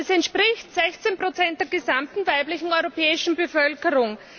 Das entspricht 16 der gesamten weiblichen europäischen Bevölkerung.